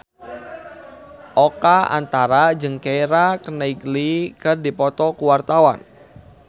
Oka Antara jeung Keira Knightley keur dipoto ku wartawan